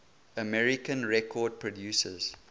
american record producers